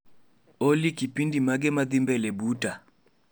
Olly kipindi mage madhii mbele buta?